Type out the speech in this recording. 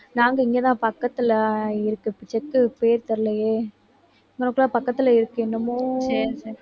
நாங்க இங்கதான் பக்கத்துல இருக்குது செக்கு பேர் தெரியலயே பக்கத்துல இருக்கு என்னமோ